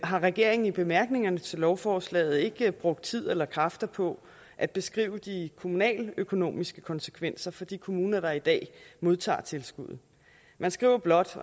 har regeringen i bemærkningerne til lovforslaget ikke brugt tid eller kræfter på at beskrive de kommunaløkonomiske konsekvenser for de kommuner der i dag modtager tilskud man skriver blot